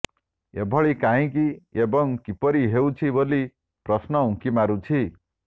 ଏଭଳି କାହଁକି ଏବଂ କିପରି ହେଉଛି ବୋଲି ପ୍ରଶ୍ନ ଉଙ୍କି ମାରୁଛି